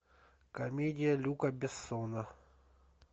комедия люка бессона